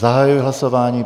Zahajuji hlasování.